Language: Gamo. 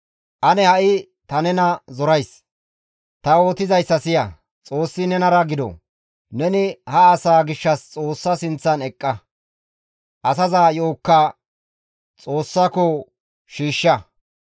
Ane ha7i ta nena zorays! Ta yootizayssa siya; Xoossi nenara gido. Neni ha asaa gishshas Xoossa sinththan eqqa; asaza yo7okka Xoossako shiishsha.